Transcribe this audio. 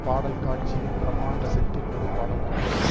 பாடல் காட்சியில் பிரம்மாண்ட செட்டில் ஒரு பாடல் காட்சி